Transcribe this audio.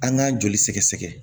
An k'an joli sɛgɛsɛgɛ